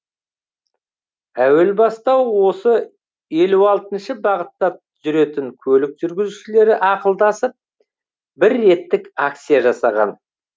әуел баста осы елу алтыншы бағытта жүретін көлік жүргізушілері ақылдасып бір реттік акция жасаған